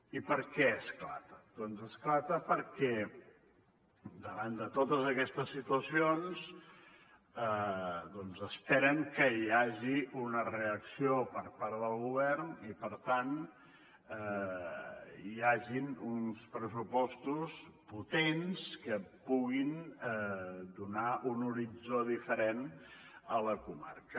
i per què esclata doncs esclata perquè davant de totes aquestes situacions esperen que hi hagi una reacció per part del govern i per tant hi hagin uns pressupostos potents que puguin donar un horitzó diferent a la comarca